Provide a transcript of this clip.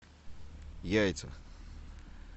яйца